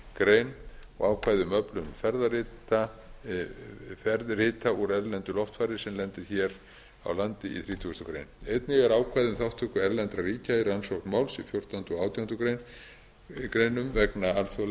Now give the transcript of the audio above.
tuttugasta og fjórðu greinar og ákvæði um öflun ferðrita úr erlendu loftfari sem lendir hér á landi í þrítugustu greinar einnig er ákvæði um þátttöku erlendra ríkja í rannsókn máls í fjórtánda og átjándu greinum vegna alþjóðlegra